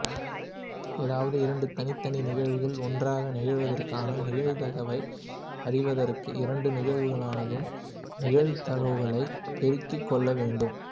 ஏதாவது இரண்டு தனித்தனி நிகழ்வுகள் ஒன்றாக நிகழ்வதற்கான நிகழ்தகவை அறிவதற்கு இரண்டு நிகழ்வுகளினதும் நிகழ்தகவுகளைப் பெருக்கிக் கொள்ள வேண்டும்